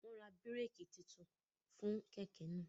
Wọn n rá bíréèkì títún fún kẹkẹ náà